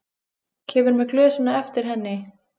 Kemur með glösin á eftir henni.